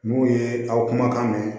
N'u ye aw kumakan mɛn